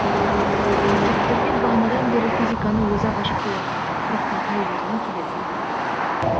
сақберген бағанадан бері физиканы өзі ақ ашып қоятын еді сұрақтың қай жерінен келетінін білмеді